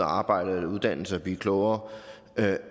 arbejde eller uddanne sig og blive klogere og